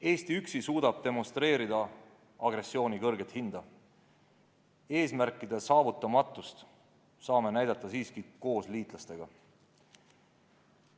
Eesti üksi suudab demonstreerida agressiooni kõrget hinda, eesmärkide saavutamatust saame tõstatada siiski koos liitlastega.